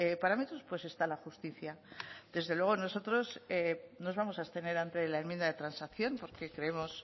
parámetros pues está la justicia desde luego nosotros nos vamos a abstener ante la enmienda de transacción porque creemos